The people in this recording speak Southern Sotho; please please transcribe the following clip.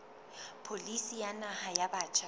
pholisi ya naha ya batjha